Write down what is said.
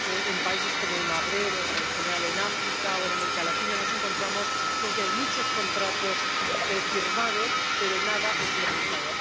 En regiones como el Magreb, o, en general, en África o en América Latina, nos encontramos con que hay muchos contratos firmados pero nada implementado.